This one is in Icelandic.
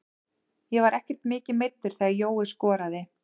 Ég var ekkert mikið meiddur þegar Jói skoraði.